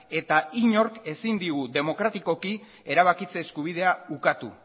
eta inork ezin digu demokratikoki erabakitze eskubidea ukatu